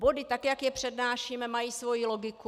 Body, tak jak je přednášíme, mají svoji logiku.